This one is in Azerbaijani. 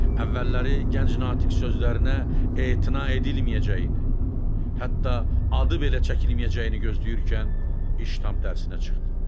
Əvvəlləri gənc Natiq sözlərinə etina edilməyəcəyini, hətta adı belə çəkilməyəcəyini gözləyərkən iş tam tərsinə çıxdı.